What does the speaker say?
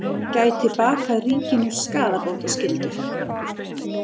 Gæti bakað ríkinu skaðabótaskyldu